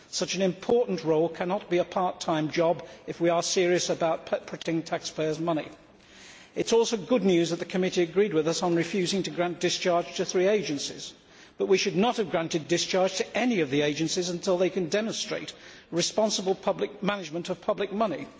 Such an important role cannot be a part time job if we are serious about protecting taxpayers' money. It is also good news that the committee agreed with us on refusing to grant discharge to three agencies, but we should not have granted discharge to any of the agencies until they could demonstrate responsible management of public money.